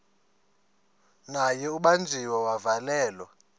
naye ubanjiwe wavalelwa